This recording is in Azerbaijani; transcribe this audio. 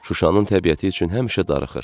Şuşanın təbiəti üçün həmişə darıxır.